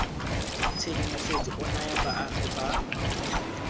tshedimosetso o naya baagi ba